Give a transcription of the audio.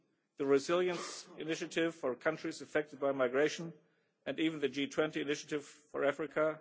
the Resilience Initiative for countries affected by migration, and even the G20 initiative for Africa.